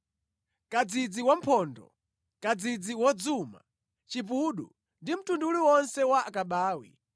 kadzidzi wamphondo, kadzidzi wodzuma, chipudo ndi mtundu uliwonse wa akabawi